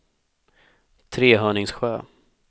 Trehörningsjö